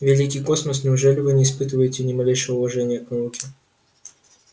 великий космос неужели вы не испытываете ни малейшего уважения к науке